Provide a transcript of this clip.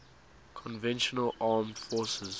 conventional armed forces